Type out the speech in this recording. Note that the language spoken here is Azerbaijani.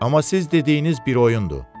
Amma siz dediyiniz bir oyundur.